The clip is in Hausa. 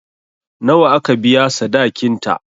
Nawa aka biya sadakin ta?